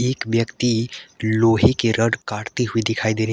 एक व्यक्ति लोहे के रॉड काटते हुए दिखाई दे रही है।